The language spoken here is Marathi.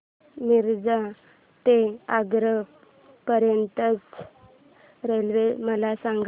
मिरज ते आग्रा पर्यंत च्या रेल्वे मला सांगा